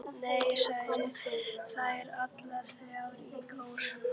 Nei, segja þær allar þrjár í kór.